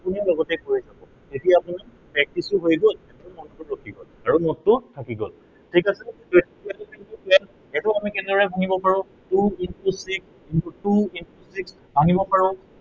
আপুনিও লগতে কৰি যাব। তেতিয়া আপোনাৰ practice ও হৈ গল আৰু সেইটো মনটো ৰখি গল আৰু note টোও থাকি গল। ঠিক আছে, twelve into twelve সেইটো আমি কেনেদৰে ভাঙিব পাৰো, two into six, two into six ভাঙিব পাৰো।